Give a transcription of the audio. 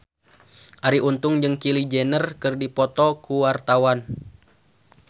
Arie Untung jeung Kylie Jenner keur dipoto ku wartawan